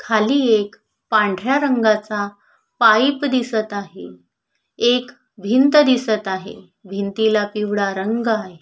खाली एक पांढऱ्या रंगाच पाइप दिसत आहे एक भिंत दिसत आहे भिंतीला पिवळा रंग आहे.